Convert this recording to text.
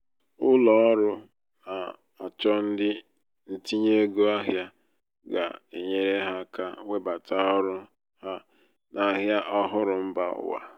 ụlọ ọrụ na-achọ ndị ntinye ego ahịa ga-enyere ha aka webata ọrụ ha n'ahịa ọhụrụ mba ụwa.